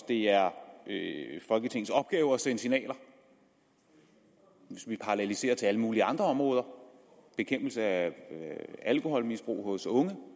det er folketingets opgave at sende signaler hvis vi paralleliserer til alle mulige andre områder for bekæmpelse af alkoholmisbrug hos unge